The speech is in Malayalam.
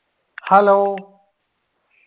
hello